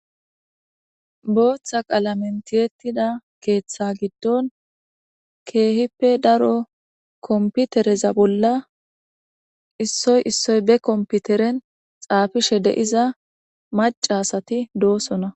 booththa qaalamentiyetida keeththa giddon keehippe daro komputereza bolla issoy issoy be komputeren xaafishe deiza maca asati doosona